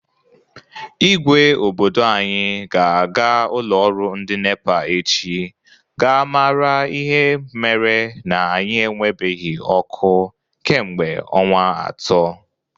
Ígwé obodo anyị ga-aga ụlọ ọrụ ndị NEPA echi gaa mara ihe mere na anyị enwebeghi ọkụ kemgbe ọnwa atọ.